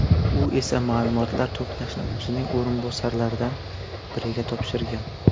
U esa ma’lumotlar to‘plashni o‘zining o‘rinbosarlaridan biriga topshirgan.